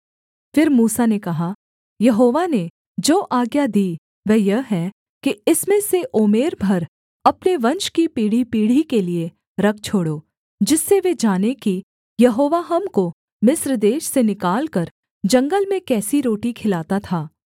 फिर मूसा ने कहा यहोवा ने जो आज्ञा दी वह यह है कि इसमें से ओमेर भर अपने वंश की पीढ़ीपीढ़ी के लिये रख छोड़ो जिससे वे जानें कि यहोवा हमको मिस्र देश से निकालकर जंगल में कैसी रोटी खिलाता था